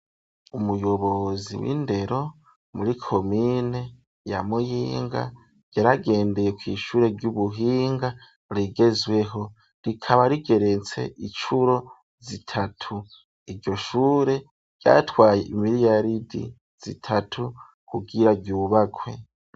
Umuyobozi w'indero muri komine ya muyinga yaragendeye kw'ishure ry'ubuhinga rigezweho, rikaba rigeretse icuro zitatu iryo shure ryatwaye imiriyaridi zitatu kugira ryubakwe.